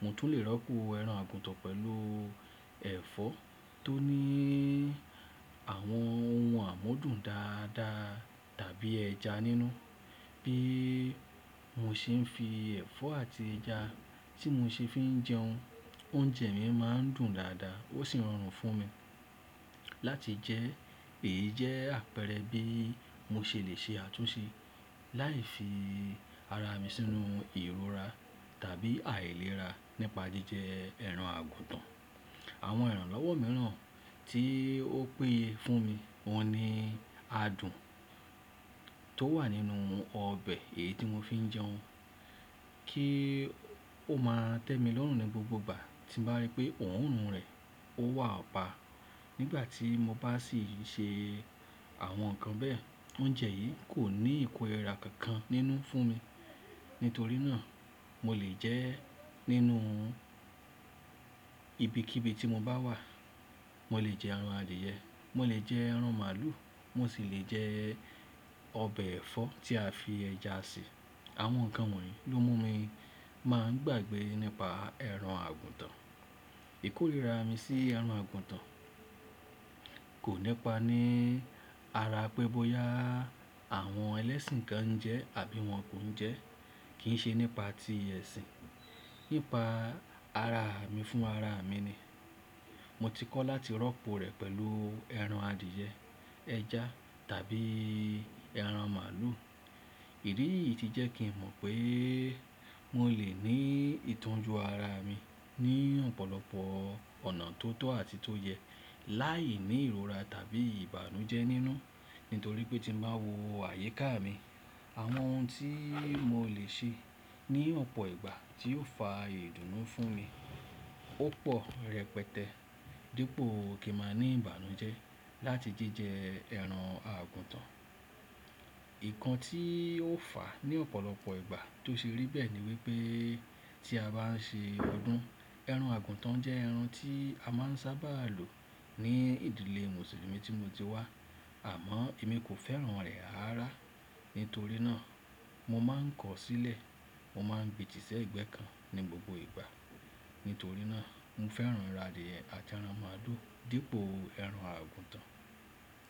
Mo tún lè rọ́pò ẹran àgùntàn pẹ̀lú ẹ̀fọ́ tó ní àwọn ohun àmúdùn dáadáa tàbí ẹja nínú. Bí mo ṣe ń fi ẹ̀fọ́ àti ẹja tí mo ṣe fi ń jẹun, oúnjẹ mi máa ń dùn dáadáa ó sì rọrùn fún mi láti jẹ. Èyí jẹ́ àpẹẹrẹ bí mo ṣe lè ṣe àtúnṣe láì fi ara mi sínú ìrora tàbí àìlera nípa jíjẹ ẹran àgùntàn. Àwọn ìrànlọ́wọ́ mìíràn tí ó peyé fún mi wọn ni adùn tó wà nínú ọbẹ̀ èyí tí mo fi ń jẹun kí ó máa tẹ́mi lọ́rùn ní gbogbo ìgbà tí mbá rí pé òórùn rẹ̀ ó wà pa. Nígbà tí mo bá sì ṣe àwọn nǹkan bẹ́ẹ̀, oúnjẹ yìí kò ní ìkórìíra kankan nínú fún mi. Nítorí náà, mo lè jẹ ẹ́ nínú ibikíbi tí mo bá wà. Mo lè jẹ ẹran adìẹ, mo lè jẹ ẹran màlúù, mo sì lè jẹ ọbẹ̀ ẹ̀fọ́ tí a fi ẹja sè. Àwọn nǹkan wọ̀nyí ló mú mi máa ń gbàgbẹ́ nípa ẹran àgùntàn. Ìkórìíra mi sí ẹran àgùntàn kò nípa ní ara pẹ́ bóyá àwọn ẹlẹ́sìn kan ń jẹ ẹ́ àbí wọn kò ń jẹ ẹ́. Kì í ṣe nípa ti ẹ̀sìn. Nípa ara mi fún ara mi ni. Mo ti kọ́ láti rọ́pò rẹ̀ pẹ̀lú ẹran adìẹ, ẹja tàbí ẹran màlúù. Irirí yìí ti jẹ́ kí n mọ̀ pé mo lè ní ìtọ́jú ara mi ní ọ̀pọ̀lọpọ̀ ọ̀nà tó tọ́ àti tó yẹ láì ní ìrora tàbí ìbànújẹ́ nínú. Nítorí pé tí mo báa wo àyíká mi, àwọn ohun tí mo lè ṣe ní ọ̀pọ̀ ìgbà tí ó fa ìdùnnú fún mi, ó pọ̀ rẹpẹtẹ dípò kí màá ní ìbànújẹ́ láti jíjẹ ẹran àgùntàn. Nkan tí ó fà á ní ọ̀pọ̀lọpọ̀ ìgbà tó ṣe rí bẹ́ẹ̀ ni wípé tí a bá ń ṣe ọdún, ẹran àgùntàn jẹ́ ẹran tí a máa ń sábà lò ní ìdílé Mùsùlùmí tí mo ti wá. Àmọ́ èmi kò fẹ́ràn rẹ̀ rarara. Nítorí náà, mo máa ń kọ̀ ọ́ sílẹ̀. Mo máa ńgbe tí ṣẹ̀gbẹ́ kan ní gbogbo ìgbà. Nítorí náà, mo fẹ́ràn ẹran adìẹ àti ẹran màlúù dípò ẹran àgùntàn.